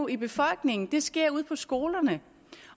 i befolkningen det sker ude på skolerne